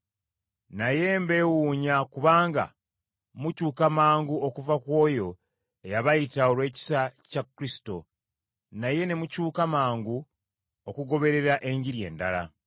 Naye mbeewuunya kubanga mukyuka mangu okuva ku oyo, eyabayita olw’ekisa kya Kristo, naye ne mukyuka mangu okugoberera Enjiri endala.